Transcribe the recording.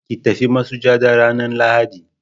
ki tafi masujada ranan lahadi